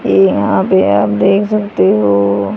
यहां पे आप देख सकते हो--